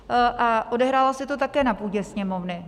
A odehrálo se to také na půdě Sněmovny.